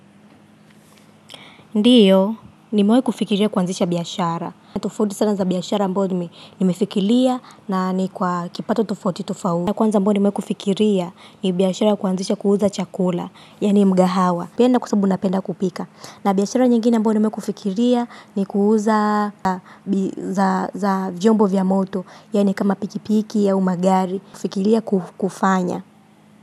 Ndiyo nimewai kufikiria kuanzisha biashara tofauti sana za biashara ambayo nimefikiria na ni kwa kipato tofauti tofauti. Na kwanza ambayo nimewai kufikiria ni biashara ya kuanzisha kuuza chakula, yani mgahawa. Napenda kwa sababu napenda kupika. Na biashara nyingine ambayo nimewai kufikiria ni kuuza za jombo vya moto, yani kama pikipiki au magari, kufikiria kufanya.